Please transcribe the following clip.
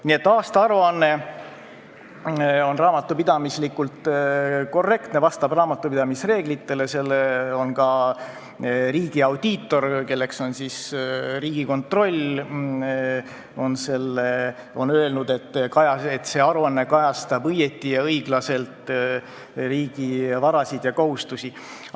Nii et aastaaruanne on raamatupidamislikult korrektne, vastab raamatupidamise reeglitele, ka riigi audiitor, kelleks on Riigikontroll, on öelnud, et see aruanne kajastab õigesti ja õiglaselt riigi varasid ja kohustusi.